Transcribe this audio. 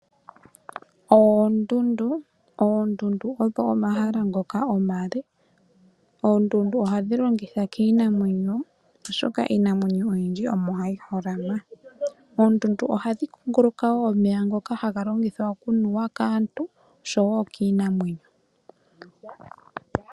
Oondundu odho omahala ngoka omaale. Oondundu ohadhi longithwa kiinamwenyo oshoka iinamwenyo oyindji omo hayi holama. Oondundu ohadhi kunguluka wo omeya ngoka haga longithwa okunuwa kaantu osho wo kiinamwenyo.